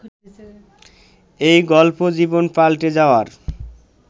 এই গল্প জীবন পাল্টে যাওয়ার